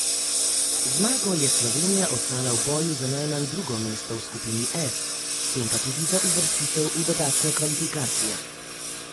Z zmago je Slovenija ostala v boju za najmanj drugo mesto v skupini F, s tem pa tudi za uvrstitev v dodatne kvalifikacije.